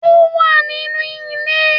Ó wà nínú ilé